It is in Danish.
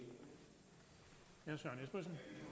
så når